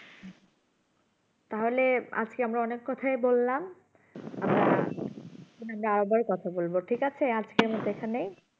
তাহলে আজকে আমরা অনেক কথায় বলাম কথা বলবো ঠিক আছে আজকের মতো এখানেই